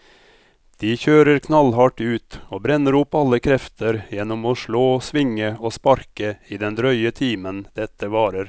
De kjører knallhardt ut og brenner opp alle krefter gjennom å slå, svinge og sparke i den drøye timen dette varer.